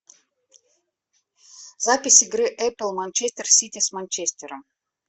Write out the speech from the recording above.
запись игры апл манчестер сити с манчестером